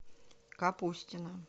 капустина